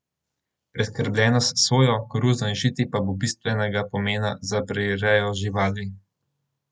Preskrbljenost s sojo, koruzo in žiti pa bo bistvenega pomena za prirejo živali.